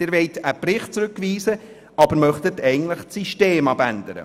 Sie wollen einen Bericht zurückweisen, aber möchten eigentlich das System ändern.